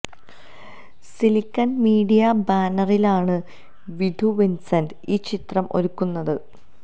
silicon media ബാനറിലാണ് Vidhu Vincent ഈ ചിത്രം ഒരുക്കുന്നത്